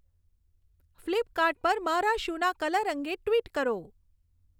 Flipkart પર મારા shoe ના કલર અંગે ટ્વિટ કરો